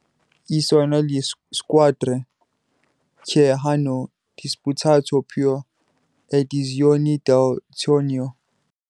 e sono le squadre che hanno disputato più edizioni del torneo.